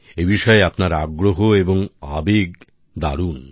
এই বিষয়ে আপনার আগ্রহ এবং আবেগ দারুন